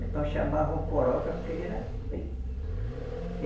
Então chamavam Coroca porque ele era preto.